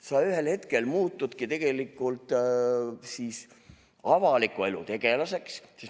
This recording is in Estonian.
Sa ühel hetkel muutudki siis tegelikult avaliku elu tegelaseks.